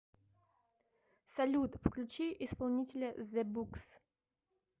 салют включи исполнителя зэ букс